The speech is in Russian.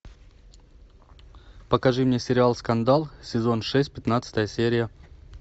покажи мне сериал скандал сезон шесть пятнадцатая серия